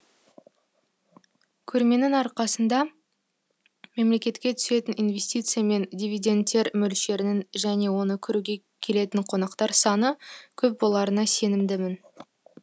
көрменің арқасында мемлекетке түсетін инвестиция мен дивиденттер мөлшерінің және оны көруге келетін қонақтар саны көп боларына сенімдімін